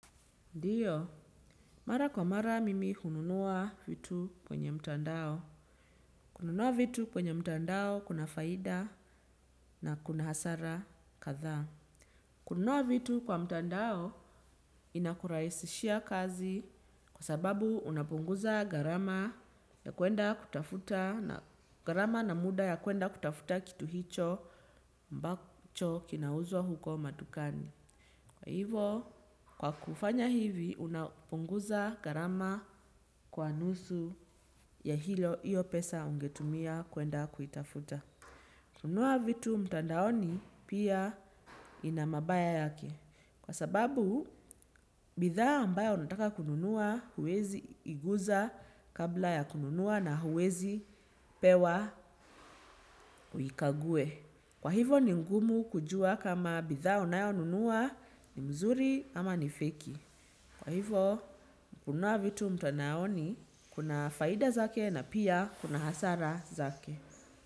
Ndiyo, mara kwa mara mimi hununua vitu kwenye mtandao. Kununua vitu kwenye mtandao kuna faida na kuna hasara kadhaa. Kununua vitu kwa mtandao inakurahisishia kazi kwa sababu unapunguza gharama gharama na muda ya kwenda kutafuta kitu hicho ambacho kinauzwa huko madukani. Kwa hivyo, kwa kufanya hivi, unapunguza gharama kwa nusu ya hilo hiyo pesa ungetumia kwenda kuitafuta. Kununua vitu mtandaoni pia ina mabaya yake. Kwa sababu bidhaa ambayo unataka kununua huwezi igusa kabla ya kununua na huwezi pewa uikague. Kwa hivyo, ni ngumu kujua kama bidhaa unayonunua ni mzuri ama ni feki. Kwa hivyo, kununua vitu mtandaoni kuna faida zake na pia kuna hasara zake.